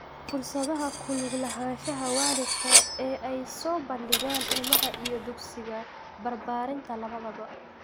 Fursadaha ku lug lahaanshaha waalidka ee ay soo bandhigaan ilmaha iyo dugsiga barbaarinta labadaba.